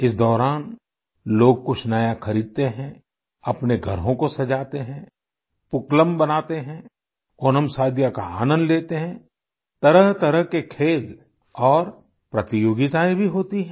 इस दौरान लोग कुछ नया खरीदते हैं अपने घरों को सजाते हैं पूक्क्लम बनाते हैं ओनमसादिया का आनंद लेते हैं तरहतरह के खेल और प्रतियोगिताएं भी होती हैं